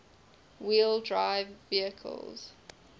wheel drive vehicles